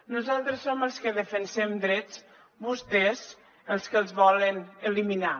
nosaltres som els que defensem drets vostès els que els volen eliminar